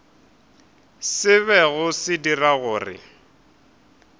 se bego se dira gore